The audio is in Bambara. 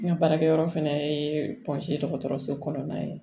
N ka baarakɛyɔrɔ fana ye dɔgɔtɔrɔso kɔnɔna ye